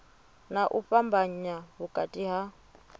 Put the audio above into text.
na u fhambanya vhukati ha